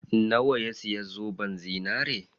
Nawa ya siya zoben zinari?